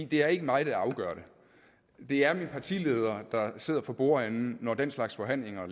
det er ikke mig der afgør det det er min partileder der sidder for bordenden når den slags forhandlinger